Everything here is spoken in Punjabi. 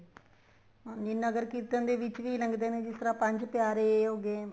ਨਗਰ ਕੀਰਤਨ ਦੇ ਵਿੱਚ ਵੀ ਲੱਗਦੇ ਨੇ ਜਿਸ ਤਰ੍ਹਾਂ ਪੰਜ ਪਿਆਰੇ ਹੋਗੇ